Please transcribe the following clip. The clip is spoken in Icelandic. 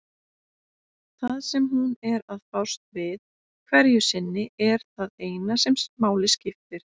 Það sem hún er að fást við hverju sinni er það eina sem máli skiptir.